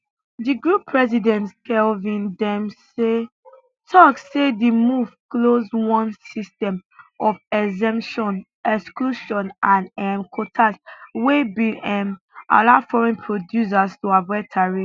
di group president kevin dempsey tok say di move close one system of exemptions exclusions and um quotas wey bin um allow foreign producers to avoid tariffs